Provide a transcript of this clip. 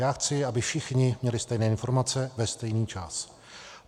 Já chci, aby všichni měli stejné informace ve stejný čas.